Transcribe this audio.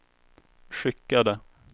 skickade